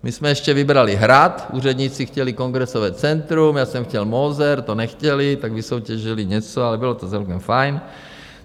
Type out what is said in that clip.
My jsme ještě vybrali Hrad, úředníci chtěli Kongresové centrum, já jsem chtěl Moser, to nechtěli, tak vysoutěžili něco, ale bylo to celkem fajn.